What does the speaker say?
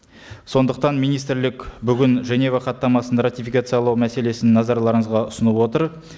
сондықтан министрлік бүгін женева хаттамасын ратификациялау мәселесін назарларыңызға ұсынып отыр